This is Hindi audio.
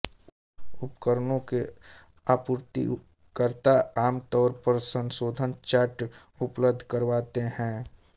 उपकरणों के आपूर्तिकर्ता आम तौर पर संशोधन चार्ट उपलब्ध करवाते हैं